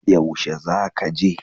Yaushe za ka je?